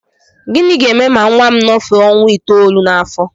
Gịnị ga-eme ma nnwa m nọfee ọnwa itoolu n'afọ?